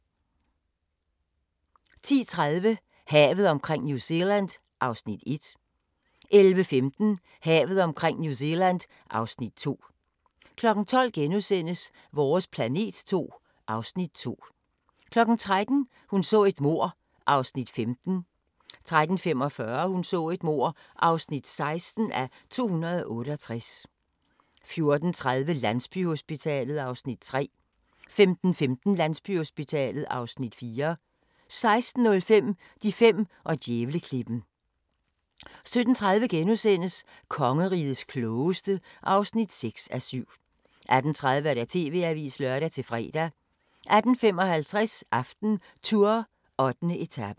11:15: Havet omkring New Zealand (Afs. 2) 12:00: Vores planet 2 (Afs. 2)* 13:00: Hun så et mord (15:268) 13:45: Hun så et mord (16:268) 14:30: Landsbyhospitalet (Afs. 3) 15:15: Landsbyhospitalet (Afs. 4) 16:05: De fem og djævleklippen 17:30: Kongerigets klogeste (6:7)* 18:30: TV-avisen (lør-fre) 18:55: AftenTour: 8. etape